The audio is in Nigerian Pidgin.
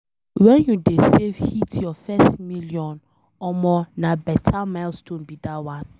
wen you dey save hit your first 1 million, omo na beta milestone be dat one.